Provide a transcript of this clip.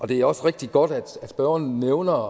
det er også rigtig godt at spørgeren nævner